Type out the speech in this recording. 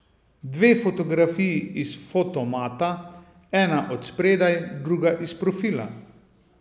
Dve fotografiji iz fotomata, ena od spredaj, druga iz profila ...